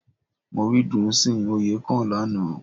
Mo rí Dùnsìn Oyèkán lánàá